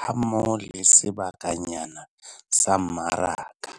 hammoho le sebakanyana sa mmaraka.